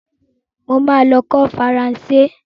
Mo ma lọ kọ́ Faranse.